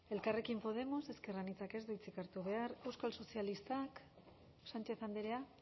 elkarrekin podemos ezker anitzak ez du hitzik hartu behar euskal sozialistak sánchez andrea